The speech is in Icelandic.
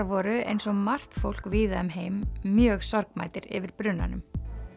voru eins og margt fólk víða um heim mjög sorgmæddir yfir brunanum